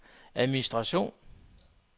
administration